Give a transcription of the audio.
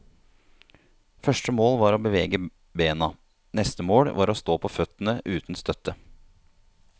Første mål var å bevege bena, neste mål var å stå på føttene uten støtte.